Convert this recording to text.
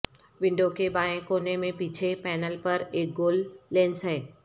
window کے بائیں کونے میں پیچھے پینل پر ایک گول لینس ہے